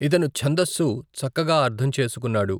ఇతను ఛందస్సు చక్కగా అర్ధం చేసుకున్నాడు.